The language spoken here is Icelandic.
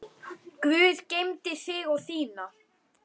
Guð geymi þig og þína.